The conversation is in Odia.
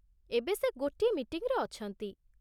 ଏବେ ସେ ଗୋଟିଏ ମିଟିଂରେ ଅଛନ୍ତି ।